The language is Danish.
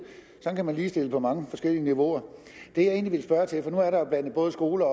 ligestille på mange forskellige niveauer det jeg egentlig ville spørge til for nu er der jo blandet både skoler